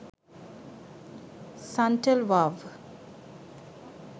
suntel wow